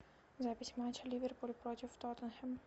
запись матча ливерпуль против тоттенхэм